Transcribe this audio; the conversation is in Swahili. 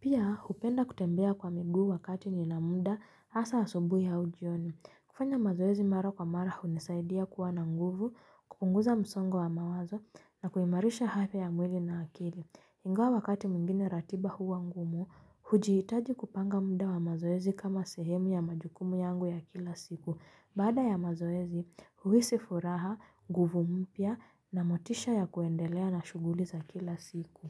Pia hupenda kutembea kwa miguu wakati nina muda hasaa asubuhi au jioni. Kufanya mazoezi mara kwa mara hunisaidia kuwa na nguvu, kupunguza msongo wa mawazo na kuimarisha afya ya mwili na akili. Ingawa wakati mwingine ratiba huwa ngumu, hujiitaji kupanga muda wa mazoezi kama sehemu ya majukumu yangu ya kila siku. Baada ya mazoezi, huisi furaha, nguvu mpya na motisha ya kuendelea na shughuli za kila siku.